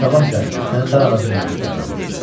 Sabah isə səni dar ağacından asdıraram.